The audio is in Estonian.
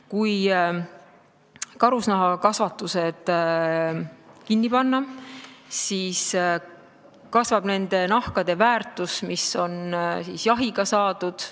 Kui karusnahakasvandused kinni panna, siis kasvab nende nahkade väärtus, mis on jahti pidades saadud.